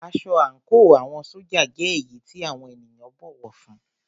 Aṣọ àńkò àwọn ṣójà jẹ́ èyí tí àwọn ènìyàn bọ̀wọ̀ fún ún.